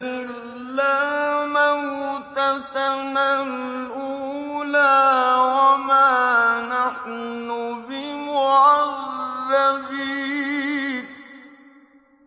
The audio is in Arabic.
إِلَّا مَوْتَتَنَا الْأُولَىٰ وَمَا نَحْنُ بِمُعَذَّبِينَ